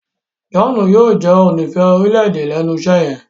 John yóò jé onífẹ̀ẹ́ orílẹ̀-èdè lénu iṣé yen.